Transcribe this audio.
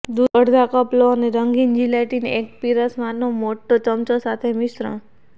દૂધ અડધા કપ લો અને રંગહીન જીલેટિન એક પીરસવાનો મોટો ચમચો સાથે મિશ્રણ